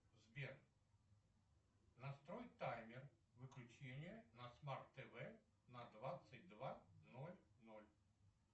сбер настрой таймер выключения на смарт тв на двадцать два ноль ноль